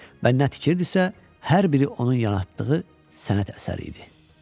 Və nə tikirdisə, hər biri onun yaratdığı sənət əsərləri idi.